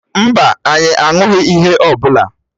Mba, anyị aṅụghị ihe ọ bụla.